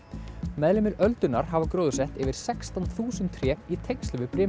meðlimir öldunnar hafa gróðursett yfir sextán þúsund tré í tengslum við